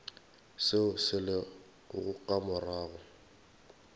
seo se lego ka morago